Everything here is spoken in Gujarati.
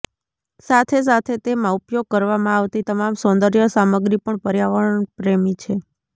સાથે સાથે તેમાં ઉપયોગ કરવામાં આવતી તમામ સૌન્દર્ય સામગ્રી પણ પર્યાવરણ પ્રેમી છે